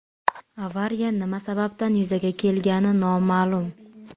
Avariya nima sababdan yuzaga kelgani noma’lum.